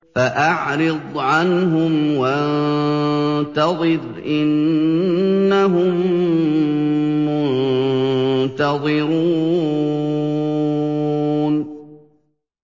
فَأَعْرِضْ عَنْهُمْ وَانتَظِرْ إِنَّهُم مُّنتَظِرُونَ